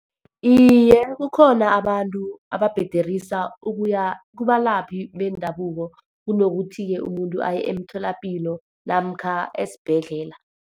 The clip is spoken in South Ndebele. Iye, kukhona abantu ababhederisa ukuya kubalaphi bendabuko, kunokuthi-ke umuntu aye emtholapilo, namkha esibhedlela.